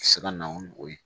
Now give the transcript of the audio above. Se ka na ni o ye